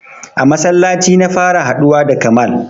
A masallaci na fara haɗuwa da kamal